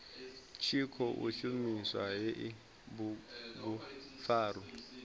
tshi khou shumisa hei bugupfarwa